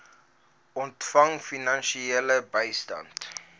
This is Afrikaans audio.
ontvang finansiële bystand